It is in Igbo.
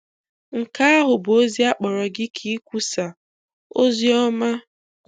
Nke ahụ bụ ozi a kpọrọ gị ka ị kwusaa ozi ọma.